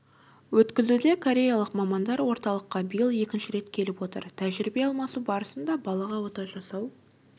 өткізуде кореялық мамандар орталыққа биыл екінші рет келіп отыр тәжірибе алмасу барысында балаға ота жасау